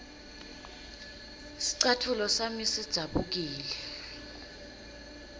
scatfulo sami sidzabukile